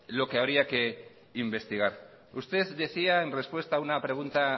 lo que habría que investigar usted decía en respuesta a una pregunta